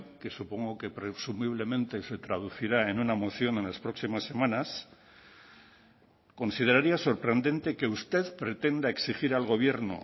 que supongo que presumiblemente se traducirá en una moción en las próximas semanas consideraría sorprendente que usted pretenda exigir al gobierno